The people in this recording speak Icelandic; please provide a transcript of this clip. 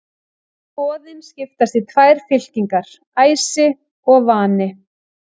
Goðin skiptast í tvær fylkingar, æsi og vani.